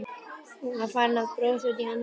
Hún var farin að brosa út í annað eftir áfallið.